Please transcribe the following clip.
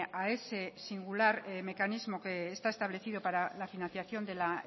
a ese singular mecanismo que está establecido para la financiación de la